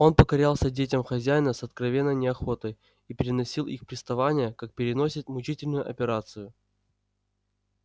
он покорялся детям хозяина с откровенной неохотой и переносил их приставания как переносят мучительную операцию